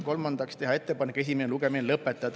Kolmandaks, teha ettepanek esimene lugemine lõpetada.